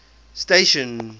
station